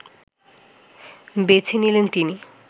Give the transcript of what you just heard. বেছে নিলেন তিনি